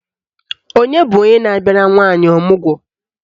Onye bụ onye na-abịara nwaanyị ọmụgwọ?